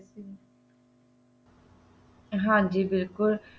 ਹਾਂਜੀ ਬਿਲਕੁੱਲ